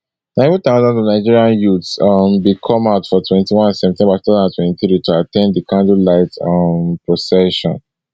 na even thousands of nigerian youths um bin come out for twenty-one september two thousand and twenty-three to at ten d di candlelight um procession